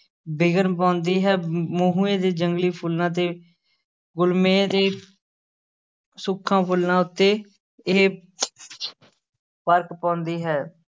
ਵਿਘਨ ਪਾਉਂਦੀ ਹੈ ਮਹੂਏ ਦੇ ਜੰਗਲੀ ਫੁੱਲਾਂ ਤੇ ਗੁਲਮੇਹ ਦੇ ਸੁੱਖਾਂ ਫੁੱਲਾਂ ਉੱਤੇ ਇਹ ਫ਼ਰਕ ਪਾਉਂਦੀ ਹੈ।